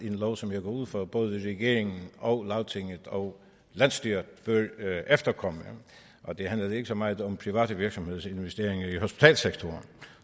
en lov som jeg går ud fra at både regeringen og lagtinget og landsstyret efterkommer og det handler ikke så meget om private virksomheders investeringer i hospitalssektoren